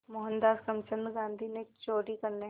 मोहनदास करमचंद गांधी ने चोरी करने